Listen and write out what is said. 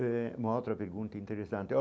Eh uma outra pergunta interessante.